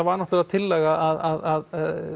var náttúrulega tillaga að